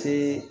Te